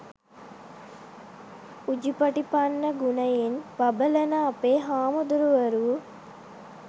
උජුපටිපන්න ගුණයෙන් බබළන අපේ හාමුදුරුවරු